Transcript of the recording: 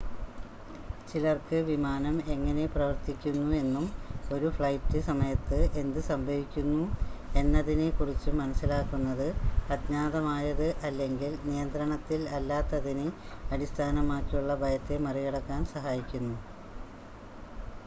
ചിലർക്ക് വിമാനം എങ്ങനെ പ്രവർത്തിക്കുന്നു എന്നും ഒരു ഫ്ലൈറ്റ് സമയത്ത് എന്ത് സംഭവിക്കുന്നു എന്നതിനെ കുറിച്ചും മനസ്സിലാക്കുന്നത് അജ്ഞാതമായത് അല്ലെങ്കിൽ നിയന്ത്രണത്തിൽ അല്ലാത്തതിനെ അടിസ്ഥാനമാക്കിയുള്ള ഭയത്തെ മറികടക്കാൻ സഹായിക്കുന്നു